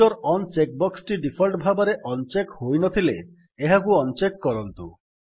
ଫୁଟର on check ବକ୍ସଟି default ଭାବରେ ଅନ୍ ଚେକ୍ ହୋଇନଥିଲେ ଏହାକୁ ଅନ୍ ଚେକ୍ କରନ୍ତୁ